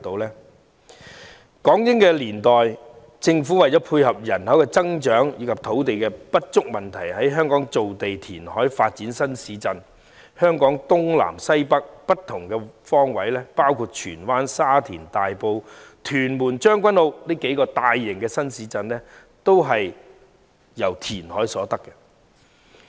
在港英年代，政府為了配合人口增長及因應土地不足的問題，在香港造地填海，發展新市鎮，香港東南西北各方包括荃灣、沙田、大埔、屯門和將軍澳等數個大型新市鎮均從填海所得。